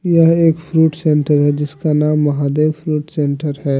यह एक fruit centre है जिसका नाम महादेव फ्रूट सेंटर है।